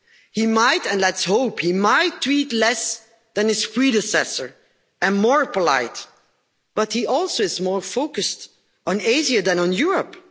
He might and let's hope he might tweet less than his predecessor, and more politely, but he is also more focused on Asia than on Europe.